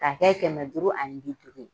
Ka kɛ kɛmɛ duuru ani bi duuru ye.